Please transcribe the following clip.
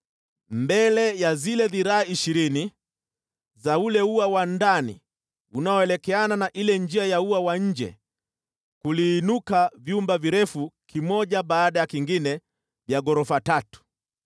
Mbele ya zile dhiraa ishirini za ule ua wa ndani unaoelekeana na ile njia ya ua wa nje, kuliinuka vyumba virefu kimoja baada ya kingine vya ghorofa tatu.